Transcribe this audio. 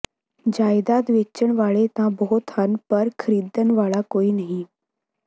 ਜਾਇਦਾਦ ਵੇਚਣ ਵਾਲੇ ਤਾਂ ਬਹੁਤ ਹਨ ਪਰ ਖਰੀਦਣ ਵਾਲਾ ਕੋਈ ਨਹੀਂ